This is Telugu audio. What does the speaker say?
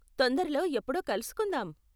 తొందరలో ఎప్పుడో కలుసుకుందాం.